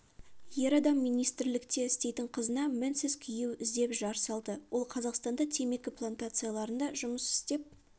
ер адам министрлікте істейтін қызына мінсіз күйеу іздеп жар салды ол қазақстанда темекі плантацияларында жұмыс істеп